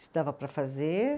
se dava para fazer.